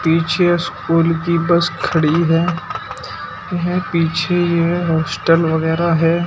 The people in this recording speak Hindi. पीछे स्कूल की बस खड़ी है यह पीछे ये हॉस्टल वगैरह है।